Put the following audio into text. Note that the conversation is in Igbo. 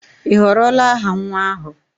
Ị họrọla aha nwa ahụ?